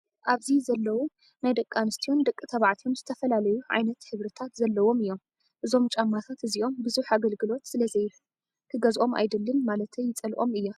ኣብዚ ዘለው ናይ ደቂ ኣንሰትዮን ደቂ ተባዕትዮን ዝተፈላለዩ ዓይነት ሕብሪታት ዘለዎም እዮም። እዞም ጫማታት እዚኦም ብዙሕ ኣገልግሎት ስለዘይህብ ክገዝኦም ኣደልን ማለተይ ይፀልኦም እየ።